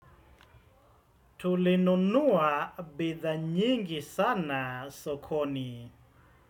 Tulinunua bidhaa nyingi sana sokoni.